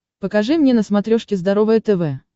покажи мне на смотрешке здоровое тв